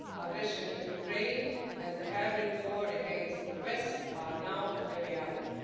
Aggression in Ukraine and the hybrid war against the west are now a reality.